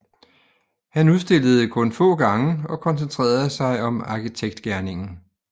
Han udstillede kun få gange og koncentrerede sig om arkitektgerningen